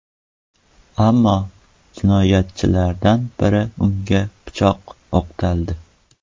Ammo jinoyatchilardan biri unga pichoq o‘qtaldi.